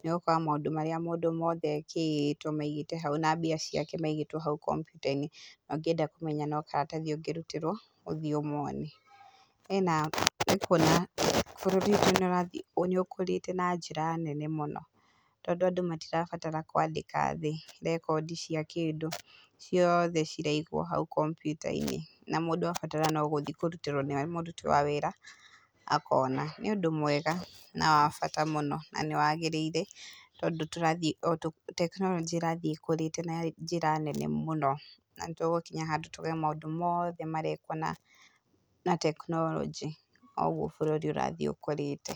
nĩ ũgũkora maũndũ marĩa mũndũ mothe ekĩtwo maigĩtwo hau ,na mbia ciake maigĩtwo hau kompiuta-inĩ. Ũngĩenda kũmenya no karatathi ũngĩrutĩrwo, ũthiĩ ũmone, hena nĩ ũkuona bũrũri witũ nĩũrathiĩ nĩ ũkũrĩte na njĩra nene mũno, tondũ andũ matirabatara kwandĩka thĩ rekondi cia kĩndũ, ciothe ciraigwo hau kompiuta-inĩ, na mũndũ abatara no gũthiĩ kũrutĩrwo nĩ mũruti wa wĩra akona, nĩ ũndũ mwega na wa bata mũno, na nĩ wagĩrĩire tondũ tũrathiĩ o tũ, tekinoronjĩ nĩ ĩrathiĩ ĩkũrĩte na njĩra nene mũno, na nĩ tũgũkinya handũ tuuge maũndũ mothe marekwo na na tekinoronjĩ o ũguo bũrũri ũrathiĩ ũkũrĩte.